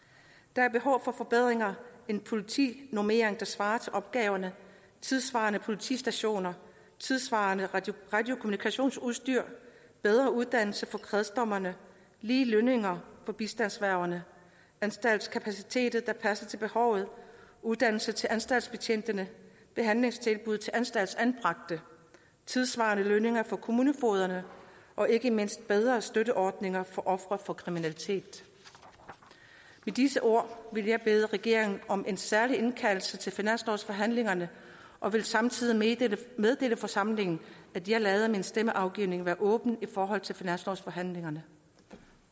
der er behov for forbedringer en politinormering der svarer til opgaverne tidssvarende politistationer tidssvarende radiokommunikationsudstyr bedre uddannelse for kredsdommerne lige lønninger for bistandsværgerne anstaltskapaciteter der passer til behovet uddannelse til anstaltsbetjentene behandlingstilbud til anstaltsanbragte tidssvarende lønninger for kommunefogederne og ikke mindst bedre støtteordninger for ofre for kriminalitet med disse ord vil jeg bede regeringen om en særlig indkaldelse til finanslovsforhandlingerne og vil samtidig meddele forsamlingen at jeg lader min stemmeafgivning være åben i forhold til finanslovsforhandlingerne